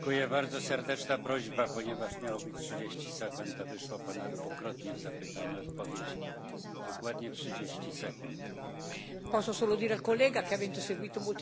Posso solo dire al collega che, avendo seguito molto i negoziati, so quanto sia doloroso a volte dovere accettare una durezza, un muro da parte di alcuni Stati membri o dell'intero Consiglio.